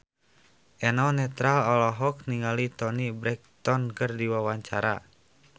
Eno Netral olohok ningali Toni Brexton keur diwawancara